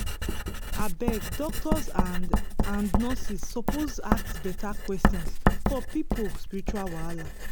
abeg doctors and and nurses suppose ask beta questions for people spiritual wahala.